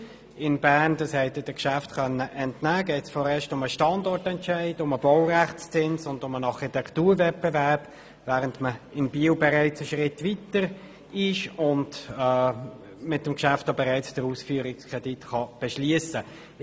Wie Sie den Geschäften zur BFH in Bern entnehmen konnten, geht es vorerst um den Standortentscheid, den Baurechtszins sowie den Architekturwettbewerb, während man in Biel weiter ist und mit dem Geschäft bereits den Ausführungskredit beschliessen kann.